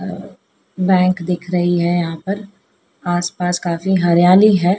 Bank दिख रही है यहां पर आस पास काफी हरियाली हैं।